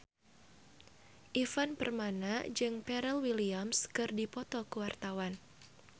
Ivan Permana jeung Pharrell Williams keur dipoto ku wartawan